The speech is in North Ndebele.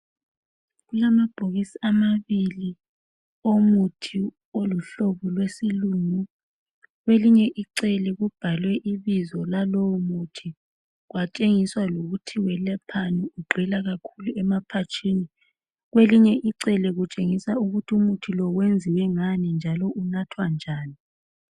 Kulamabhokisi amabili, omuthi oluhlobo lwesilungu. Kwelinye icele kubhalwe ibizo lalowomuthi. Kwatshengiswa lokuthi welaphani, ugxila kakhulu, emaphatshini. Kwelinye icele kwatshengiswa ukuthi wenziwe ngani, njalo unathwa njani.